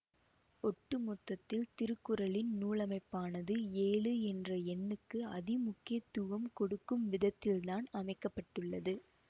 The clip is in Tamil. ஒட்டு மொத்தத்தில் திருக்குறளின் நூலமைப்பானது ஏழு என்ற எண்ணுக்கு அதிமுக்கியத்துவம் கொடுக்கும் விதத்தில்தான் அமைக்க பட்டுள்ளது